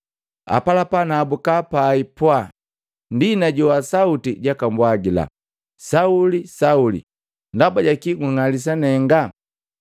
Apalapa nahabuka pai pwaa, ndi najowa sauti jaka mbwagila, ‘Sauli, Sauli! Ndaba jaki gung'alisa nenga?’